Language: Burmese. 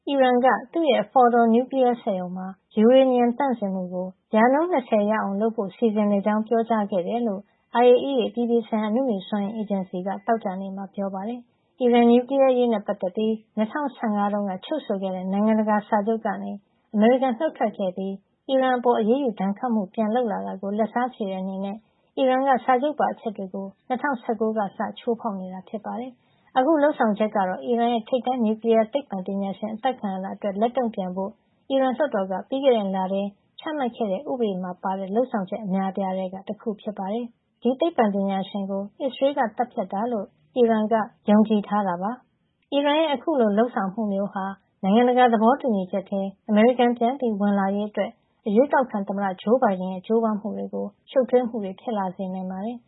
ီရန်က သူ့ရဲ့ Fordow နျူကလီယားစက်ရုံမှာ ယူရေနီယံ သန့်စင်မှုကို ၂၀ ရာခိုင်နှုန်း ရအောင် လုပ်ဖို့ စီစဉ်နေကြောင်း ပြောကြားခဲ့တယ်လို့ IAEA အပြည်ပြည်ဆိုင်ရာ အနုမြူစွမ်းအင် အေဂျင်စီက သောကြာနေ့မှာ ပြောပါတယ်။ အီရန်နျူကလီယား အရေးနဲ့ပတ်သက်ပြီး ၂၀၁၅ တုန်းက ချုပ်ဆိုခဲ့တဲ့ နိုင်ငံတကာစာချုပ်ကနေ အမေရိကန်နုတ်ထွက်ခဲ့ပြီးး အီရန်အပေါ် အရေးယူ ဒဏ်ခတ်မှုတွေ ပြန်လုပ်လာတာကို လက်စားချေတဲ့ အနေနဲ့ အီရန်က စာချုပ်ပါ အချက်တွေကို ၂၀၁၉ ခုနှစ်ကစပြီး ချိုးဖောက်နေတာ ဖြစ်ပါတယ်။ အခု လုပ်ဆောင်ချက်ကတော့ အီရန်ရဲ့ ထိပ်တန်း နျူကလီးယာသိပ္ပံပညာရှင် အသတ်ခံရတာအတွက် လက်တုံ့ပြန်ဖို့ အီရန်လွှတ်တော်က ပြီးခဲ့တဲ့ လထဲ ချမှတ်ခဲ့တဲ့ ဥပဒေမှာ ပါတဲ့ လုပ်ဆောင်ချက် အများအပြားထဲက တခုဖြစ်ပါတယ်။ အီရန်ရဲ့ အခုလို လုပ်ဆောင်မှုမျိုးဟာ နိုင်ငံတကာ သဘောတူညီချက်ထဲ အမေရိကန် ပြန်ဝင်လာရေး အရွေးကောက်ခံသမ္မတ ဂျိုးဘိုင်ဒန် ရဲ့ ကြိုးပမ်းမှုအတွက် ရှုပ်ထွေးမှုတွေ ဖြစ်လာစေနိုင်ပါတယ်။